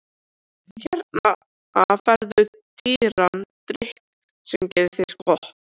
Hérna færðu dýran drykk sem gerir þér gott.